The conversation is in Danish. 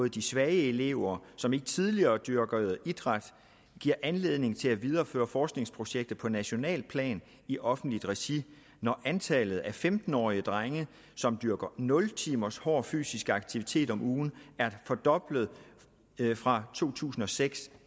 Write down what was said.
i de svage elever som ikke tidligere dyrkede idræt giver anledning til at videreføre forskningsprojektet på nationalt plan i offentligt regi når antallet af femten årige drenge som dyrker nul timers hård fysisk aktivitet om ugen er fordoblet fra to tusind og seks